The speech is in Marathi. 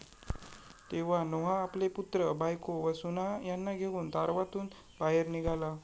तेव्हा नोहा आपले पुत्र, बायको व सुना यांना घेऊन तारवातून बाहेर निघाला.